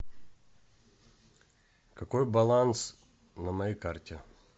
какой баланс на моей карте